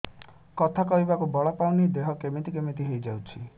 କଥା କହିବାକୁ ବଳ ପାଉନି ଦେହ କେମିତି କେମିତି ହେଇଯାଉଛି